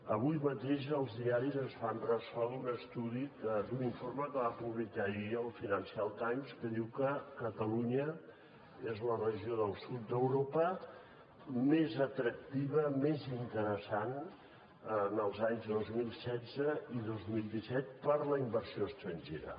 avui mateix els diaris es fan ressò d’un informe que va publicar ahir el financial times que diu que catalunya és la regió del sud d’europa més atractiva més interessant en els anys dos mil setze i dos mil disset per a la inversió estrangera